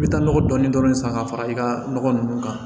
I bɛ taa nɔgɔ dɔɔnin dɔɔnin san ka fara i ka nɔgɔ ninnu kan